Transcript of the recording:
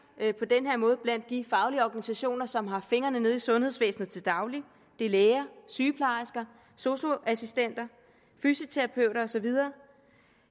på den her måde blandt de faglige organisationer som har fingrene nede i sundhedsvæsenet til daglig det er læger sygeplejersker sosu assistenter fysioterapeuter og så videre